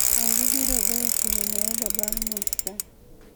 Olly biro goyo simu ne uber bang' nus saa